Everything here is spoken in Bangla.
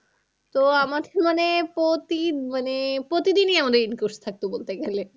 তো আমাকে মানে প্রতি মানে প্রতিদিনই আমাদের in course থাকতো বলতে গেলে।